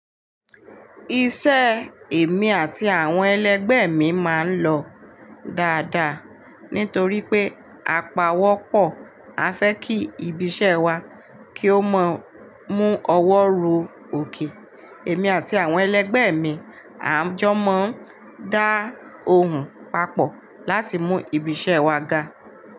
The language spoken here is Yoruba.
Iṣẹ́ èmi àti àwọn ẹlẹgbẹ́ mi máa ń lọ dáadáa nítorí pé apá ọwọ́ pọ̀. A fẹ́ kí ibi iṣẹ́ wa kí ó mọ mú ọwọ́ ro òkè. Èmi àti àwọn ẹlẹgbẹ́ mi, à ń jọ máa ń dá ohùn papọ̀ láti mú ibi iṣẹ́ wa ga.